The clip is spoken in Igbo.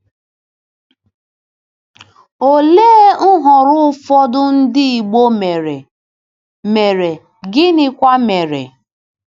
Olee nhọrọ ụfọdụ ndị Igbo mere, mere, gịnịkwa mere?